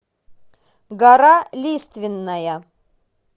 гора лиственная